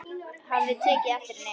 Hafði tekið eftir henni.